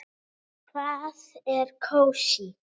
Hvað er kósí?